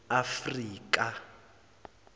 afrika